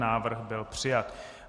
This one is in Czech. Návrh byl přijat.